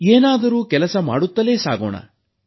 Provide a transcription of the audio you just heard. ಏನಾದರೂ ಕೆಲಸ ಮಾಡುತ್ತಲೇ ಸಾಗೋಣ